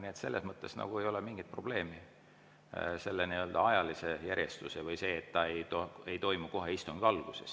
Nii et selles mõttes ei ole mingit probleemi selle ajalise järjestusega või sellega, et see ei toimu kohe istungi alguses.